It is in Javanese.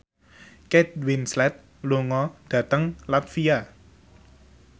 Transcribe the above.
Kate Winslet lunga dhateng latvia